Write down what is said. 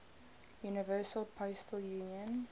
universal postal union